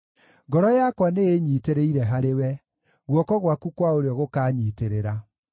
Ngoro yakwa nĩĩnyiitĩrĩire harĩwe; guoko gwaku kwa ũrĩo gũkaanyiitĩrĩra.